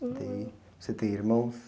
E daí você tem irmãos?